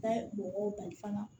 Ka mɔgɔw bali fana